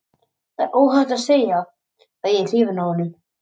Það er óhætt að segja að ég er hrifinn af honum.